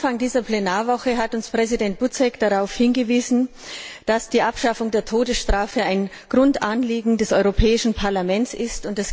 Am Anfang dieser Plenarwoche hat Präsident Buzek uns darauf hingewiesen, dass die Abschaffung der Todesstrafe ein Grundanliegen des Europäischen Parlaments ist.